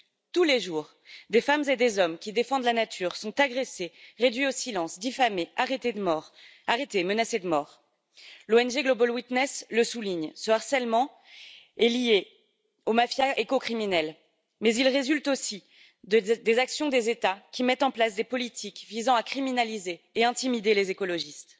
Tous les jours, des femmes et des hommes qui défendent la nature sont agressés, réduits au silence, diffamés, arrêtés ou menacés de mort. L'ONG Global Witness le souligne ce harcèlement est lié aux mafias éco criminelles, mais il résulte aussi des actions des États qui mettent en place des politiques visant à criminaliser et à intimider les écologistes.